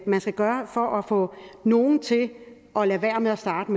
man skal gøre for at få nogle til at lade være med at starte